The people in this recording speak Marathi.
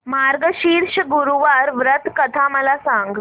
मार्गशीर्ष गुरुवार व्रत कथा मला सांग